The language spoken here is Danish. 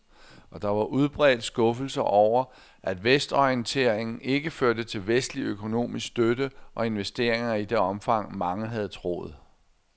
Og der var udbredt skuffelse over, at vestorienteringen ikke førte til vestlig økonomisk støtte og investeringer i det omfang, mange havde troet.